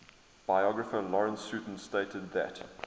biographer lawrence sutin stated that